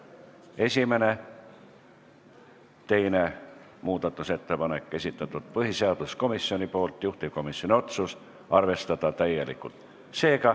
Esimene ja teine muudatusettepanek, esitanud on põhiseaduskomisjon ja juhtivkomisjoni otsus on arvestada täielikult.